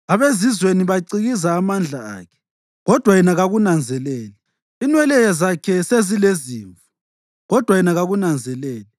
Abezizweni bacikiza amandla akhe, kodwa yena kakunanzeleli. Inwele zakhe sezilezimvu kodwa yena kakunanzeleli.